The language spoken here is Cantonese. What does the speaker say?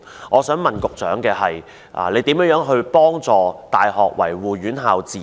我想問，局長如何協助大學維護院校自主？